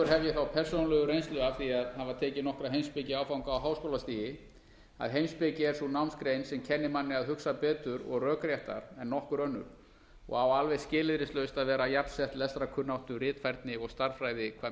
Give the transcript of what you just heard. ég þá persónulegu reynslu af því að hafa tekið nokkra heimspekiáfanga á háskólastigi að heimspeki er sú námsgrein sem kennir manni að hugsa betur og rökréttar en nokkur önnur og á alveg skilyrðislaust að vera jafnsett lestrarkunnáttu ritfærni og stærðfræði hvað